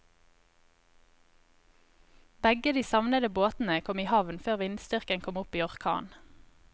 Begge de savnede båtene kom i havn før vindstyrken kom opp i orkan.